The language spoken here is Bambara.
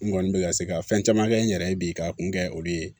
N kɔni bɛ ka se ka fɛn caman kɛ n yɛrɛ ye bi k'a kun kɛ olu ye